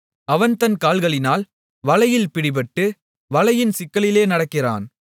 அவன் தன் கால்களினால் வலையில் பிடிபட்டு வலையின் சிக்கலிலே நடக்கிறான்